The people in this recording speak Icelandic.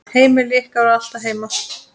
Heimili ykkar var alltaf heim.